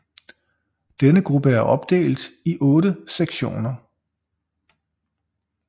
Denne gruppe er opdelt i otte sektioner